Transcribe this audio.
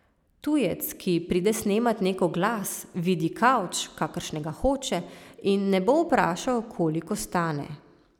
Tujec, ki pride snemat nek oglas, vidi kavč, kakršnega hoče, in ne bo vprašal, koliko stane.